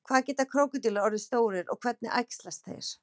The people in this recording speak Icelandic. hvað geta krókódílar orðið stórir og hvernig æxlast þeir